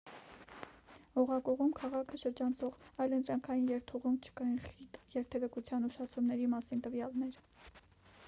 օղակուղում քաղաքը շրջանցող այլընտրանքային երթուղում չկային խիտ երթևեկության ուշացումների մասին տվյալներ